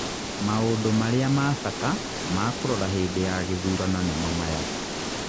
Maũndũ marĩa ma bata ma kũrora hĩndĩ ya gĩthurano nimo maya.